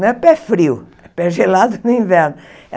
Não é pé frio, é pé gelado no inverno.